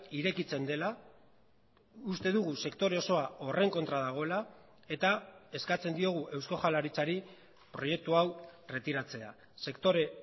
irekitzen dela uste dugu sektore osoa horren kontra dagoela eta eskatzen diogu eusko jaurlaritzari proiektu hau erretiratzea sektore